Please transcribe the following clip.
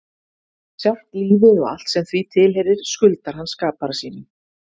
Sjálft lífið og allt sem því tilheyrir skuldar hann skapara sínum.